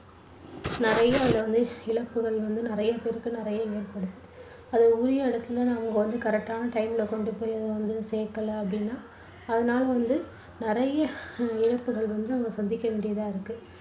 நிறைய அதுல வந்து இழப்புகள் வந்து நிறைய பேருக்கு நிறைய ஏற்படுது அது உரிய இடத்துல நம்ம வந்து correct டான time ல கொண்டுபோய் அதை வந்து சேக்கல அப்டின்னா அதனால வந்து நிறைய இழப்புகள் வந்து சந்திக்க வேண்டியதா இருக்கு.